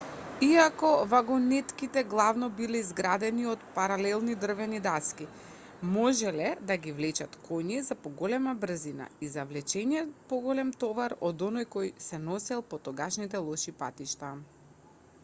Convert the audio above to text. иако вагонетките главно биле изградени од паралелни дрвени даски можеле да ги влечат коњи за поголема брзина и за влечење поголем товар од оној кој се носел по тогашните лоши патишта